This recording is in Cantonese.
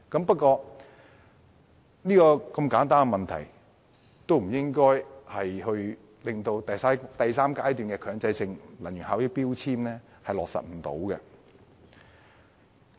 不過，如此簡單的問題理應不會導致第三階段強制性標籤計劃無法落實。